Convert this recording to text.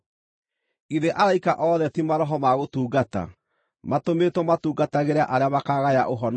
Githĩ araika othe ti maroho ma gũtungata, matũmĩtwo matungatagĩre arĩa makaagaya ũhonokio?